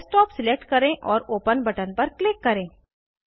desktop select करें और open button पर क्लिक करें